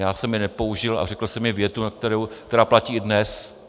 Já jsem je nepoužil a řekl jsem jim větu, která platí i dnes.